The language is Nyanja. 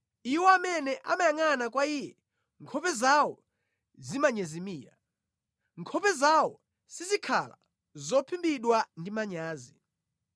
Iwo amene amayangʼana kwa Iye, nkhope zawo zimanyezimira; nkhope zawo sizikhala zophimbidwa ndi manyazi.